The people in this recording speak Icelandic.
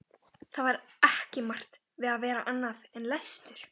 Það var ekki margt við að vera annað en lestur.